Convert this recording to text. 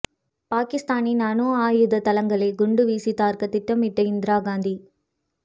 பாகிஸ்தானின் அணு ஆயுத தளங்களை குண்டு வீசி தகர்க்கத் திட்டமிட்ட இந்திரா காந்தி